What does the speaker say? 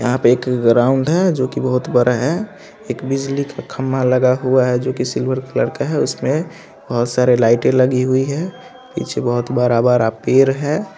यहाँ पे एक ग्राउंड है जो कि बोहोत बरा है। एक बिजली का खंबा लगा हुआ है जो कि सिल्वर कलर का है उसमें बोहोत सारा लाइटे लगी हुई है। पीछे बोहोत बरा - बरा पेड़ है ।